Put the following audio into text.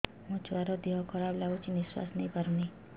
ମୋ ଛୁଆର ଦିହ ଖରାପ ଲାଗୁଚି ନିଃଶ୍ବାସ ନେଇ ପାରୁନି